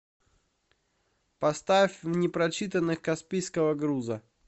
поставь в непрочитанных каспийского груза